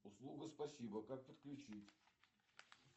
услуга спасибо как подключить